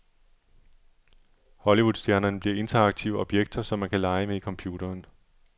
Hollywoodstjernerne bliver interaktive objekter, som man kan lege med i computeren.